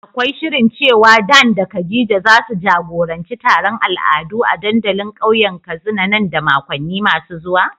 Akwai shirin cewa Dan da Khadija zasu jagoranci taron al'adu a dandalin kauyen Katsina nan da makonni masu zuwa?